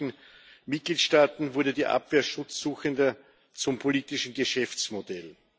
Ja, in manchen Mitgliedstaaten wurde die Abwehr Schutzsuchender zum politischen Geschäftsmodell.